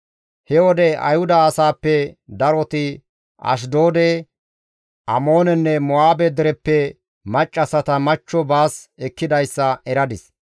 He wode Ayhuda asaappe daroti Ashdoode, Amoonenne Mo7aabe dereppe maccassata machcho baas ekkidayssa eradis.